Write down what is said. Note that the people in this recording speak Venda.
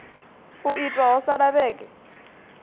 u itwa ho sala vhege